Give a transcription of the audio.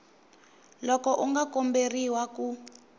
loko u nga komberiwa ku